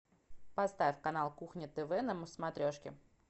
поставь канал кухня тв на смотрешке